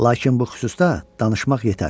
Lakin bu xüsusda danışmaq yetər.